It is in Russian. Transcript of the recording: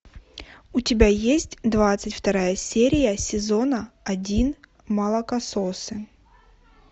у тебя есть двадцать вторая серия сезона один молокососы